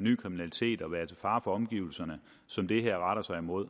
ny kriminalitet og være til fare for omgivelserne som det her retter sig imod